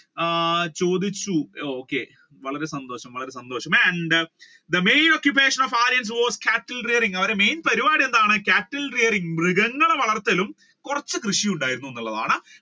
ആ ചോദിച്ചു okay വളരെ സന്ദോഷം വളരെ സന്ദോഷം and the main ocuppation of Aryans was cattle rearing അവരുടെ main പരിപാടി എന്താണ് cattle rearing മൃഗങ്ങളെ വളർത്തലും കുറച്ചു കൃഷിയും ഉണ്ടായി എന്നുള്ളതാണ്